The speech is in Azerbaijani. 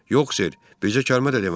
Yox, ser, bircə kəlmə də demədim.